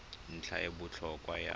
ntlha e e botlhokwa ya